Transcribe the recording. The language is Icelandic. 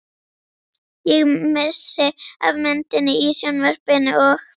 Ég missi af myndinni í sjónvarpinu og.